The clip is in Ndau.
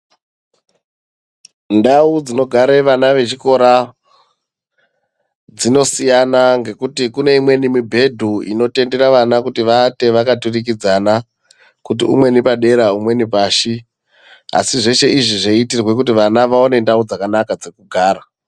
Ndau dzinogare vana ve chikora dzino siyana ngekuti kune imweni mibhedhu ino tendera vana vawate vaka turikidzana kuti umweni padera umweni pashi asi zveshe izvi zveitirwe kuti vana vaone ndau dzakanaka dzekugara.